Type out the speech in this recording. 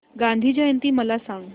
गांधी जयंती मला सांग